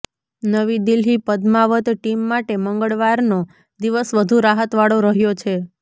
નવી દિલ્હીઃ પદ્માવત ટીમ માટે મંગળવારનો દિવસ વધુ રાહતવાળો રહ્યો છે